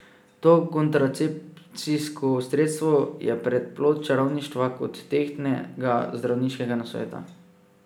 To kontracepcijsko sredstvo je prej plod čarovništva kot tehtnega zdravniškega nasveta.